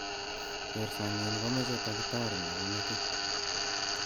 kertsanyin komoche taritari nepo metit.